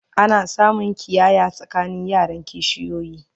ana samun ƙiyaya tsakanin yaran kishiyoyi